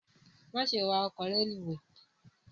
gharaun to add